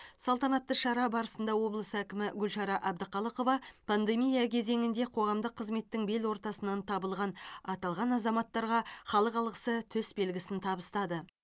салтанатты шара барысында облыс әкімі гүлшара әбдіқалықова пандемия кезеңінде қоғамдық қызметтің бел ортасынан табылған аталған азаматтарға халық алғысы төсбелгісін табыстады